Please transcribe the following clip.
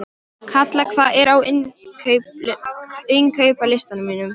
Kalla, hvað er á innkaupalistanum mínum?